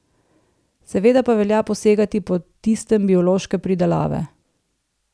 Seveda pa velja posegati po tistem biološke pridelave.